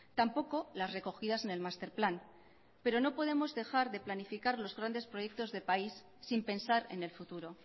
tampoco las recogidas en el master plan pero no podemos dejar de planificar los grandes proyectos de país sin pensar en el futuro